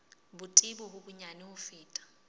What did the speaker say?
botebo bo bonyane ho feta